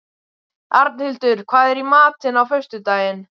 Arnhildur, hvað er í matinn á föstudaginn?